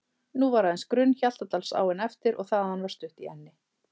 Nú var aðeins grunn Hjaltadalsáin eftir og þaðan var stutt í Enni